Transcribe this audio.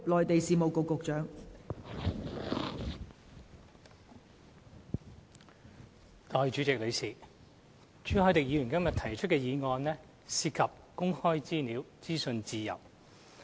代理主席，朱凱廸議員今天提出的議案涉及公開資料和資訊自由。